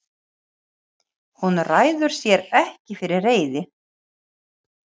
Hún ræður sér ekki fyrir reiði.